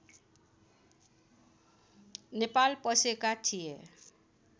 नेपाल पसेका थिए